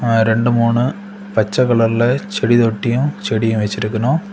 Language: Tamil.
ரெண்டு மூணு பச்சை கலர்ல செடி தொட்டியு செடியு வச்சிருக்கணும்.